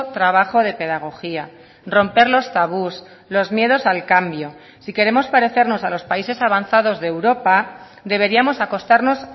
trabajo de pedagogía romper los tabús los miedos al cambio si queremos parecernos a los países avanzados de europa deberíamos acostarnos